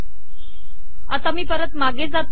आता मी परत मागे जाते